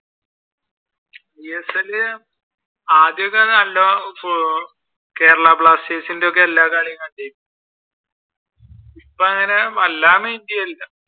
Isl ആദ്യമൊക്കെ ഉം നല്ല കേരള ബ്ലാസ്റ്റേഴ്സിന്റെ ഒക്കെ എല്ലാ കളിയും കണ്ടിരുന്നു. ഇപ്പങ്ങനെ